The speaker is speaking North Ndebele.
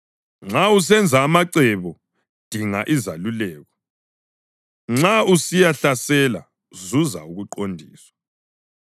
Nxa usenza amacebo dinga izeluleko; nxa usiyahlasela zuza ukuqondiswa.